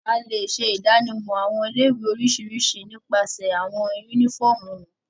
A le ṣe idanimọ awọn ile-iwe oriṣiriṣi nipasẹ awọn unifọmú wọn